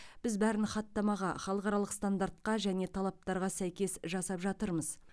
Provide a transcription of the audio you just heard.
біз бәрін хаттамаға халықаралық стандартқа және талаптарға сәйкес жасап жатырмыз